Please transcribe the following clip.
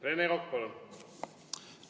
Rene Kokk, palun!